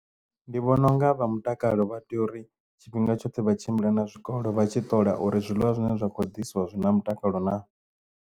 Ndi vhona unga vha mutakalo vha tea uri tshifhinga tshoṱhe vha tshimbila na zwikolo vha tshi ṱola uri zwiḽiwa zwine zwa kho diswa zwi na mutakalo na.